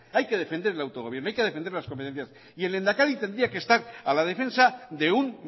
hay que defender el autogobierno hay que defender las competencias y el lehendakari tendría que estar a la defensa de un